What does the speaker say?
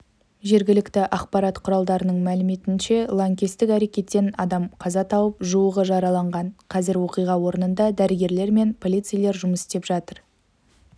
жергілікті ақпарат құралдарының мәліметінше лаңкестік әрекеттен адам қаза тауып жуығы жараланған қазір оқиға орнында дәрігерлер мен полицейлер жұмыс істеп жатыр